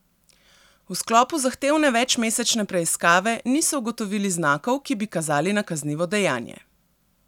V sklopu zahtevne večmesečne preiskave niso ugotovili znakov, ki bi kazali na kaznivo dejanje.